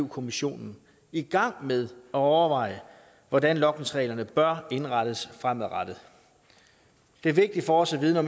kommissionen i gang med at overveje hvordan logningsreglerne bør indrettes fremadrettet det er vigtigt for os at vide